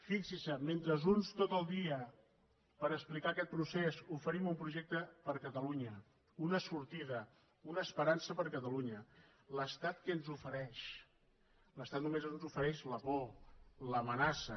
fixin se mentre uns tot el dia per explicar aquest procés oferim un projecte per a catalunya una sortida una esperança per a catalunya l’estat què ens ofereix l’estat només ens ofereix la por l’amenaça